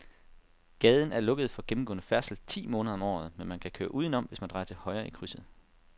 Gaden er lukket for gennemgående færdsel ti måneder om året, men man kan køre udenom, hvis man drejer til højre i krydset.